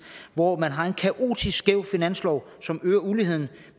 hvor man har en kaotisk skæv finanslov som øger uligheden